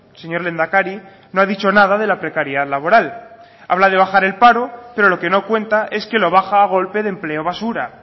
señor lehendakari no ha dicho nada de la precariedad laboral habla de bajar el paro pero lo que no cuenta es que lo baja a golpe de empleo basura